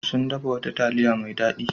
Sun dafa wata taliya mai dadi.